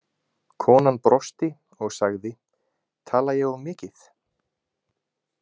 Konan brosti og sagði: Tala ég of mikið?